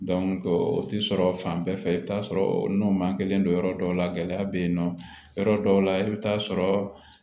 o tɛ sɔrɔ fan bɛɛ fɛ i bi taa sɔrɔ n'o man kelen don yɔrɔ dɔw la gɛlɛya bɛ yen nɔ yɔrɔ dɔw la i bɛ t'a sɔrɔ